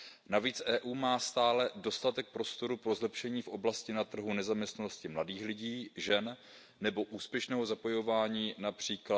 Navíc EU má stále dostatek prostoru pro zlepšení v oblasti trhu nezaměstnanosti mladých lidí, žen nebo úspěšného zapojování, např.